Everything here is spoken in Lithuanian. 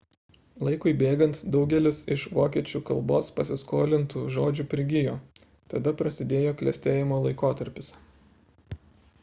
laikui bėgant daugelis iš vokiečių kalbos pasiskolintų žodžių prigijo tada prasidėjo klestėjimo laikotarpis